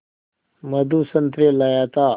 मधु संतरे लाया था